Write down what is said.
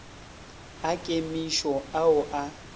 a kemišo a o a